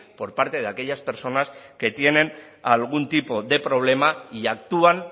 por parte de aquellas personas que tienen algún tipo de problema y actúan